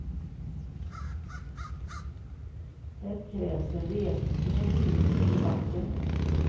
Det krävs en resning i den politiska debatten.